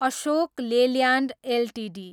Ashok Leyland Ltd